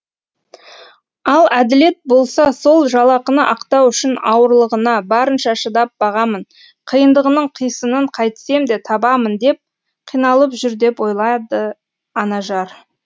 ал әділет болса сол жалақыны ақтау үшін ауырлығына барынша шыдап бағамын қиындығының қисынын қайтсем де табамын деп қиналып жүр деп ойлады анажар